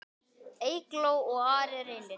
Eygló og Ari Reynir.